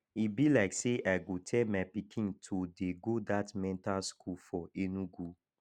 e be like say i go tell my pikin to dey go dat mental school for enugu